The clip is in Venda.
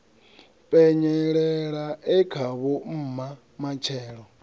penyelela e khavho mma matshelo